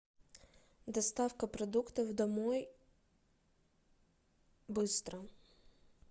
доставка продуктов домой быстро